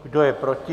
Kdo je proti?